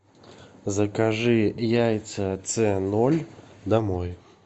закажи яйца ц ноль домой